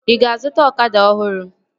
Ị ga-azụta ọkada ọhụrụ?